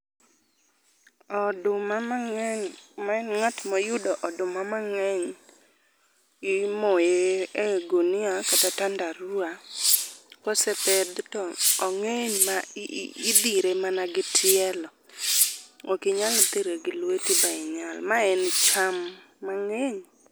Oduma mang'eny ma en ng'at moyudo oduma mangeny imoye e ogunia kata tandarua kosepedh to ong'eny midhire mana gi tielo ok inyal dhire gi lweti ma inyal. Ma en cham mang'eny.